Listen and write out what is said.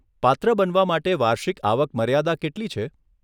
પાત્ર બનવા માટે વાર્ષિક આવક મર્યાદા કેટલી છે?